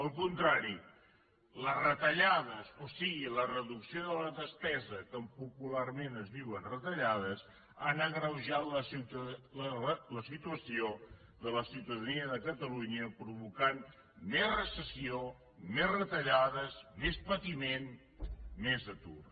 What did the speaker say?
al contrari les retallades o sigui la reducció de la despesa que popularment es diu retallades han agreujat la situació de la ciutadania de catalunya i han provocat més recessió més retallades més patiment més atur